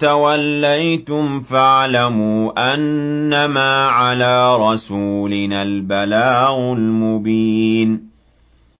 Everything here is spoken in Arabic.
تَوَلَّيْتُمْ فَاعْلَمُوا أَنَّمَا عَلَىٰ رَسُولِنَا الْبَلَاغُ الْمُبِينُ